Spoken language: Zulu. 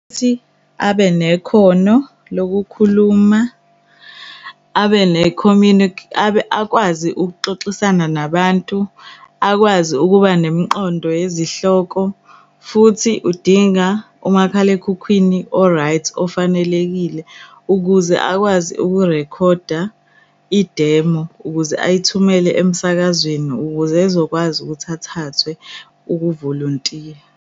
Ukuthi abe nekhono lokukhuluma akwazi ukuxoxisana nabantu. Akwazi ukuba nemiqondo yezihloko futhi udinga umakhalekhukhwini o-right ofanelekile ukuze akwazi ukurekhoda idemo, ukuze ayithumele emsakazweni ukuze ezokwazi ukuthi athathwe ukuvolontiya.